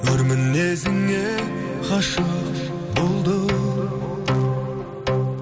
өр мінезіңе ғашық болдым